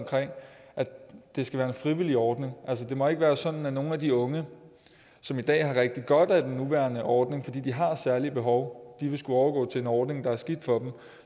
at det skal være en frivillig ordning altså det må ikke være sådan at nogle af de unge som i dag har det rigtig godt med den nuværende ordning fordi de har særlige behov vil skulle overgå til en ordning der er skidt for dem